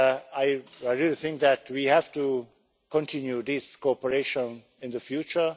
I really think that we have to continue this cooperation in the future.